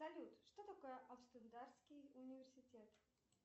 салют что такое амстердамский университет